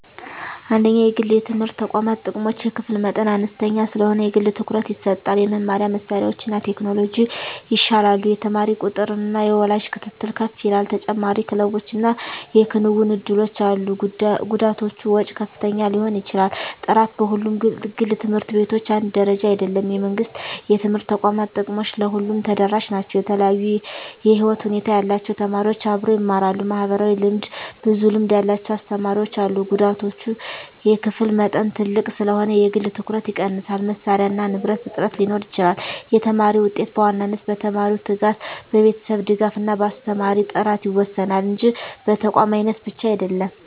1) የግል የትምህርት ተቋማት ጥቅሞች የክፍል መጠን አነስተኛ ስለሆነ የግል ትኩረት ይሰጣል የመማሪያ መሳሪያዎችና ቴክኖሎጂ ይሻላሉ የተማሪ ቁጥጥርና የወላጅ ክትትል ከፍ ይላል ተጨማሪ ክለቦችና የክንውን እድሎች አሉ ጉዳቶች ወጪ ከፍተኛ ሊሆን ይችላል ጥራት በሁሉም ግል ት/ቤቶች አንድ ደረጃ አይደለም የመንግሥት የትምህርት ተቋማት ጥቅሞች ለሁሉም ተደራሽ ናቸው የተለያዩ የህይወት ሁኔታ ያላቸው ተማሪዎች አብረው ይማራሉ (ማህበራዊ ልምድ) ብዙ ልምድ ያላቸው አስተማሪዎች አሉ ጉዳቶች የክፍል መጠን ትልቅ ስለሆነ የግል ትኩረት ይቀንሳል መሳሪያና ንብረት እጥረት ሊኖር ይችላል የተማሪ ውጤት በዋናነት በተማሪው ትጋት፣ በቤተሰብ ድጋፍ እና በአስተማሪ ጥራት ይወሰናል እንጂ በተቋም አይነት ብቻ አይደለም።